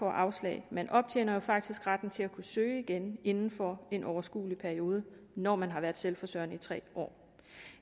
afslag man optjener jo faktisk retten til at kunne søge igen inden for en overskuelig periode når man har været selvforsørgende i tre år